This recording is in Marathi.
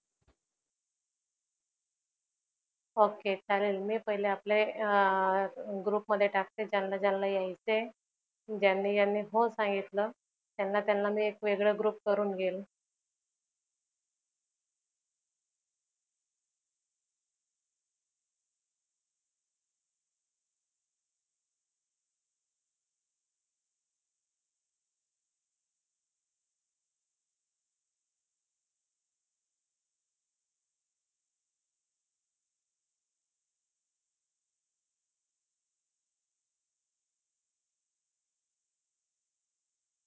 Okay चालेल. मी पहिले आपल्या अं group मध्ये टाकते ज्यांना ज्यांना यायचं आहे, ज्यांनी ज्यांनी हो सांगितल त्यांना त्यांना मी एक वेगळा group करून घेईल.